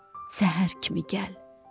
Səhər kimi gəl.